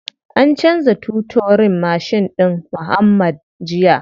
An canza toturin mashin ɗin muuhammad jiya.